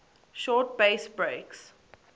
short bass breaks